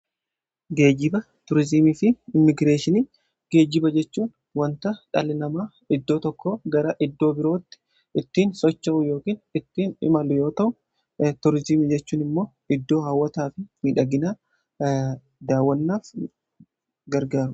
Geejiba Tuurizimii fi Immigireeshinii. Geejiba jechuun wanta dhalli namaa iddoo tokkoo gara iddoo birootti ittiin socho'u yookiin ittiin imalu yoo ta'u, Tuurizimii jechuun immoo iddoo hawwataa fi midhaginaa daawwannaaf gargaaru.